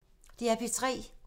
DR P3